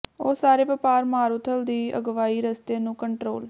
ਉਹ ਸਾਰੇ ਵਪਾਰ ਮਾਰੂਥਲ ਦੀ ਅਗਵਾਈ ਰਸਤੇ ਨੂੰ ਕੰਟਰੋਲ